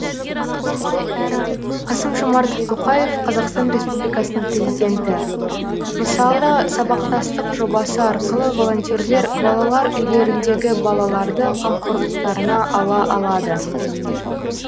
қасым жомарт тоқаев қазақстан республикасының президенті мысалы сабақтастық жобасы арқылы волонтерлер балалар үйлеріндегі балаларды қамқорлықтарына ала алады